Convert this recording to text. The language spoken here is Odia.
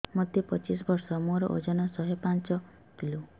ମୋତେ ପଚିଶି ବର୍ଷ ମୋର ଓଜନ ଶହେ ପାଞ୍ଚ କିଲୋ